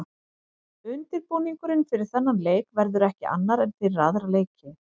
Undirbúningurinn fyrir þennan leik verður ekki annar en fyrir aðra leiki.